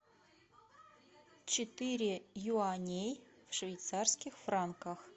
четыре юаней в швейцарских франках